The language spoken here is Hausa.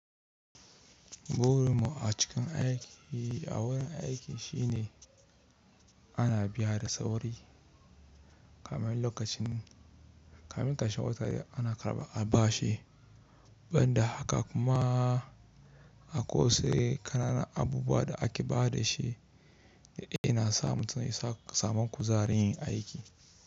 Burin mu a cikin aiki, a wurin aiki shine ana biya da tsauri, kamin lokacin, kamin kashe watan ana karaba a ba shi. Ban da haka kuma akwai wasu ƙananan abubuwa da ake ba da shi da yana sa mutum yasa samun kuzari yin aiki.